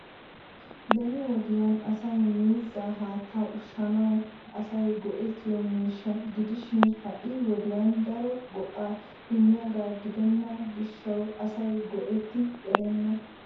Beni wodiyan asay miizzaa haattaa ushshanawu asay go"ettiyo miishsha gidishin ha'i wodiyaan daro go"a immiyaaga gidena gishshawu asay go"etti erenna.